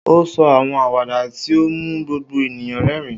O sọ awọn awada ti o mu gbogbo eniyan rẹrin.